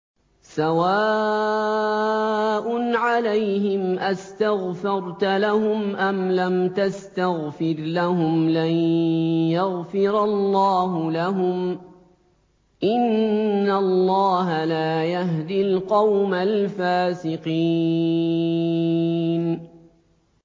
سَوَاءٌ عَلَيْهِمْ أَسْتَغْفَرْتَ لَهُمْ أَمْ لَمْ تَسْتَغْفِرْ لَهُمْ لَن يَغْفِرَ اللَّهُ لَهُمْ ۚ إِنَّ اللَّهَ لَا يَهْدِي الْقَوْمَ الْفَاسِقِينَ